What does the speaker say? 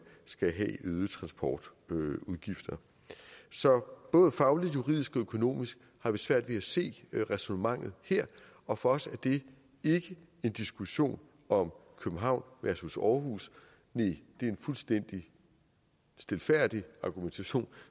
skal have øgede transportudgifter så både fagligt juridisk og økonomisk har vi svært ved at se ræsonnementet her og for os er det ikke en diskussion om københavn versus aarhus næh det er en fuldstændig stilfærdig argumentation